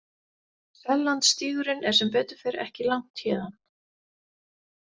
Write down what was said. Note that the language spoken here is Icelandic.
Sellandsstígurinn er sem betur fer ekki langt héðan.